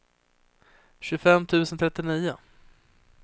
tjugofem tusen trettionio